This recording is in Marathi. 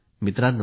मित्रांनो